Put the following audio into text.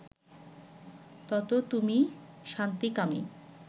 তত তুমি শান্তিকামী